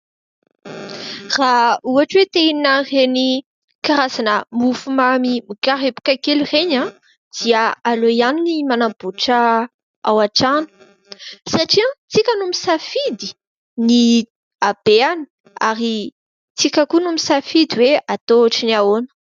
Raha ohatra hoe te hihinana ireny karazana mofomamy mikarepoka kely ireny dia aleo ihany manamboatra ao an-trano satria isika no misafidy ny habeany ary isika koa no misafidy hoe atao ohatra ny ahoana.